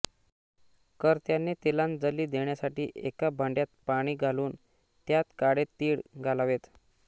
कर्त्याने तिलांजली देण्यासाठी एका भांड्यात पाणी घालून त्यात काळे तीळ घालावेत